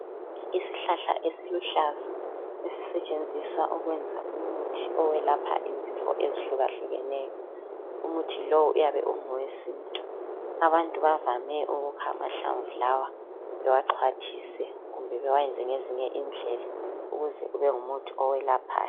Isihlahla esiluhlaza esisetshenziswa ukwenza umuthi owelapha izifo ezihlukahlukeneyo. Umuthi lowu uyabe ungowesintu. Abantu bavame ukukha amahlamvu lawa bewaxhwathise kumbe bewayenze ngezinye indlela ukuze kube ngumuthi owelaphayo.